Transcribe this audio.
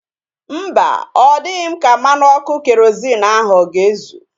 Mba, ọ dịghị m ka mmanụ ọkụ kerozịn ahu ọ ga-ezu